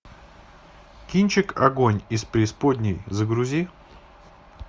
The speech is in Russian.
кинчик огонь из преисподней загрузи